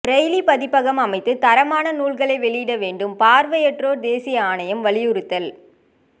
Braille பதிப்பகம் அமைத்து தரமான நூல்களை வெளியிட வேண்டும் பாா்வையற்றோா் தேசிய ஆணையம் வலியுறுத்தல்